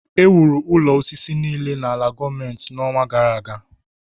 Ewuru ụlọ osisi niile n’ala gọọmentị n’ọnwa gara aga